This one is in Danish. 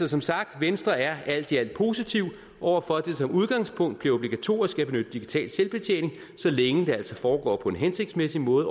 som sagt er venstre alt i alt positive overfor at det som udgangspunkt bliver obligatorisk at benytte digital selvbetjening så længe det altså foregår på en hensigtsmæssig måde